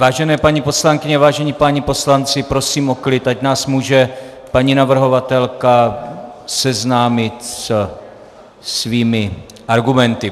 Vážené paní poslankyně, vážení páni poslanci, prosím o klid, ať nás může paní navrhovatelka seznámit se svými argumenty.